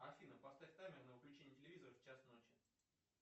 афина поставь таймер на выключение телевизора в час ночи